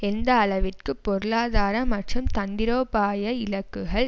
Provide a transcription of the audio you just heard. எந்த அளவிற்கு பொருளாதார மற்றும் தந்திரோபாய இலக்குகள்